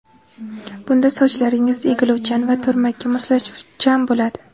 Bunda sochlaringiz egiluvchan va turmakka moslashuvchan bo‘ladi.